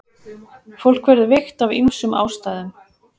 Fólk verður veikt af ýmsum ástæðum.